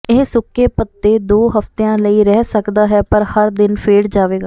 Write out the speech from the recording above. ਇਹ ਸੁੱਕੇ ਭੱਤੇ ਦੋ ਹਫਤਿਆਂ ਲਈ ਰਹਿ ਸਕਦਾ ਹੈ ਪਰ ਹਰ ਦਿਨ ਫੇਡ ਜਾਵੇਗਾ